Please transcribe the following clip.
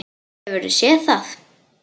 Hefurðu séð það?